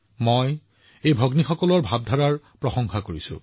মই এই ভগ্নীসকলৰ আৱেগক প্ৰশংসা কৰো